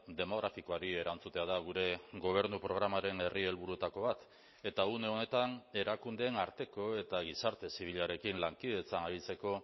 demografikoari erantzutea da gure gobernu programaren herri helburuetako bat eta une honetan erakundeen arteko eta gizarte zibilarekin lankidetzan aritzeko